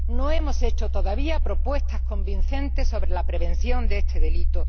No hemos hecho todavía propuestas convincentes sobre la prevención de este delito.